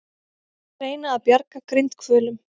Reyna að bjarga grindhvölum